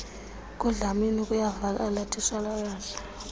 kudlamini kuyavakala titshalakazi